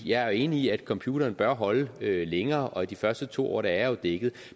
jeg er enig i at computeren bør holde længere og de første to år er jeg jo dækket